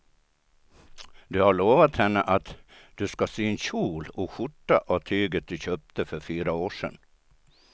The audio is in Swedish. Du har lovat henne att du ska sy en kjol och skjorta av tyget du köpte för fyra år sedan.